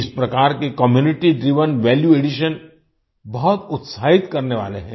इस प्रकार के कम्यूनिटी ड्राइवेन वैल्यू एडिशन बहुत उत्साहित करने वाले हैं